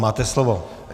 Máte slovo.